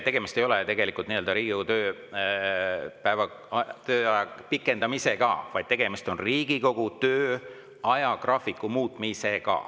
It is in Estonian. Tegemist ei ole tegelikult Riigikogu tööaja pikendamisega, vaid tegemist on Riigikogu töö ajagraafiku muutmisega.